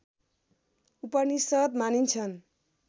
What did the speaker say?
उपनिषद् मानिन्छन्